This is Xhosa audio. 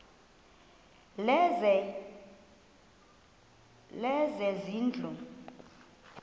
lezezindlu